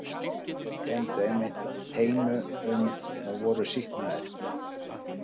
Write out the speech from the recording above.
Þeir kenndu einmitt teinu um og voru sýknaðir.